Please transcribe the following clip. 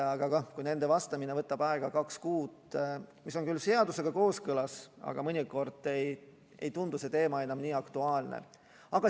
Aga kui nendele vastamine võtab aega kaks kuud, mis on küll seadusega kooskõlas, siis mõnikord ei tundu see teema enam nii aktuaalne.